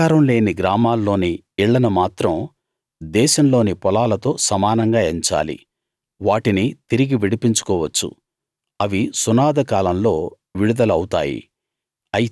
ప్రాకారం లేని గ్రామాల్లోని ఇళ్ళను మాత్రం దేశంలోని పొలాలతో సమానంగా ఎంచాలి వాటిని తిరిగి విడిపించుకోవచ్చు అవి సునాదకాలంలో విడుదల అవుతాయి